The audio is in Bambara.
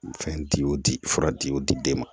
Fɛn di o di fura di o di den ma